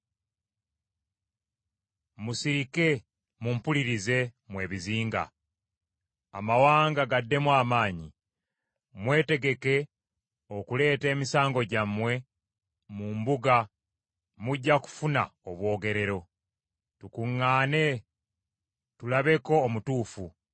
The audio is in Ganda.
“Musirike mumpulirize mmwe ebizinga, amawanga gaddemu amaanyi. Mwetegeke okuleeta emisango gyammwe mu mbuga mujja kufuna obwogerero. Tukuŋŋaane tulabeko omutuufu.